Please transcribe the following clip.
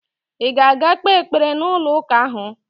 Ị ga-aga kpee ekpere n'ụlọụka ahụ?